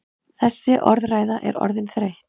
Þessi orðræða er orðin þreytt!